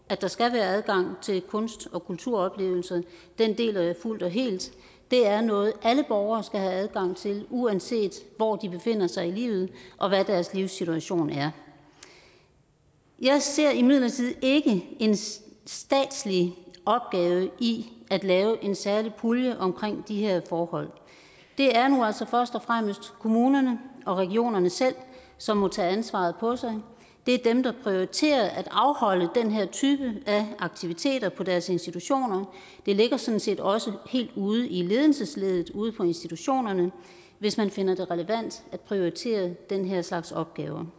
at der skal være adgang til kunst og kulturoplevelser deler jeg fuldt og helt det er noget alle borgere skal have adgang til uanset hvor de befinder sig i livet og hvad deres livssituation er jeg ser imidlertid ikke en statslig opgave i at lave en særlig pulje omkring de her forhold det er nu altså først og fremmest kommunerne og regionerne selv som må tage ansvaret på sig det er dem der prioriterer at afholde den her type af aktiviteter på deres institutioner det ligger sådan set også helt ude i ledelsesleddet ude på institutionerne hvis man finder det relevant at prioritere den her slags opgaver